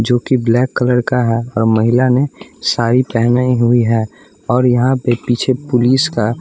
जो कि black colour का है और महिला ने साड़ी पहनी हुई है और यहाँ पे पीछे पुलिस का --